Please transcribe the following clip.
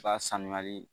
Ba sanuyali